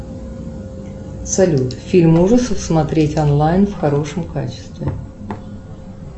салют фильм ужасов смотреть онлайн в хорошем качестве